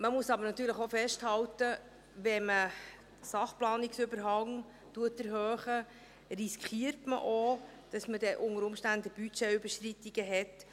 Man muss natürlich auch festhalten, dass wenn man den Sachplanungsüberhang erhöht, man auch riskiert, unter Umständen Budgetüberschreitungen zu haben.